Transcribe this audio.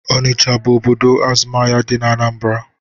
Onicha bụ obodo azụmahịa dị n'Anambra